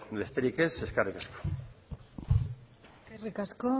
besterik ez eskerrik asko eskerrik asko